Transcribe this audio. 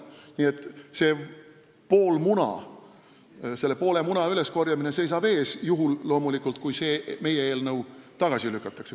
Nii et selle poole muna üleskorjamine seisab ees – loomulikult juhul, kui see meie eelnõu tagasi lükatakse.